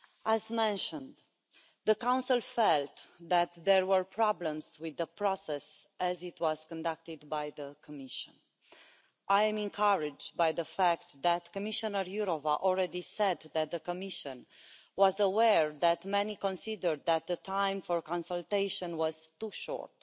As mentioned, the Council felt that there were problems with the process as it was conducted by the Commission. I am encouraged by the fact that Commissioner Jourová already said that the Commission was aware that many considered that the time for consultation was too short,